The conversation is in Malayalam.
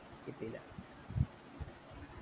കിട്ടീല